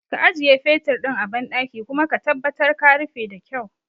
Ka ajiye fetur ɗin a banɗaki kuma ka tabbatar ka rufe da kyau